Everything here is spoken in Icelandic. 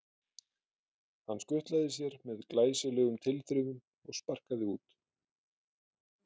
Hann skutlaði sér með glæsilegum tilþrifum og sparkaði út.